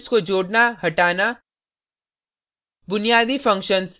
array से elements को जोडना/हटाना